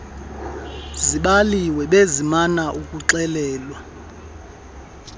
zibaliwe besimana ukuxelelwa